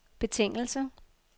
betingelse